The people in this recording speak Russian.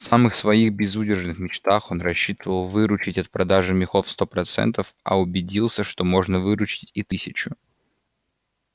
в самых своих безудержных мечтах он рассчитывал выручить от продажи мехов сто процентов а убедился что можно выручить и тысячу